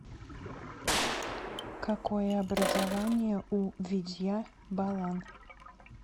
какое образование у видья балан